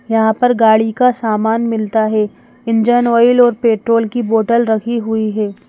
यहाँ पर गाड़ी का सामान मिलता है इंजन ऑयल और पेट्रोल की बोतल रखी हुई है।